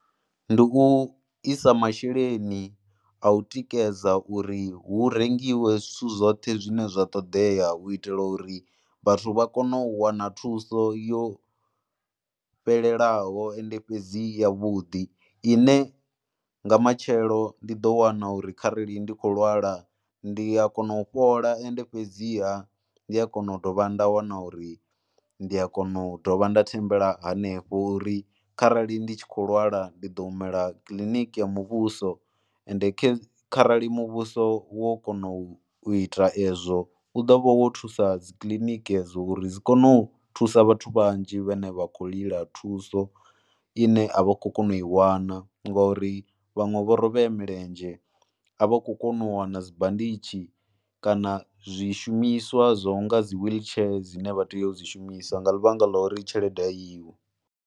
Ndi u i sa masheleni a u tikedza uri hu rengiwe zwithu zwoṱhe zwine zwa ṱoḓea u itela uri vhathu vha kone u wana thuso yo fhelelaho, ende fhedzi yavhuḓi ine nga matshelo ndi ḓo wana uri kharali ndi khou lwala ndi a kona u fhola. Ende fhedziha ndi a kona u dovha nda wana uri ndi a kona u dovha nda thembela hanefho uri kharali ndi tshi khou lwala ndi ḓo humela kiḽiniki ya muvhuso ende kharali muvhuso wo kona u ita ezwo u ḓo vha wo thusa dzi kiliniki dzo uri dzi kone u thusa vhathu vhanzhi vhane vha khou lila thuso ine a vha khou kona u i wana ngori vhaṅwe vho rovhea milenzhe, a vha khou kona u wana dzi banditshi kana zwishumiswa zwa u nga dzi wheelchair dzine vha tea u dzi shumisa nga ḽivhanga ḽa uri tshelede a iho.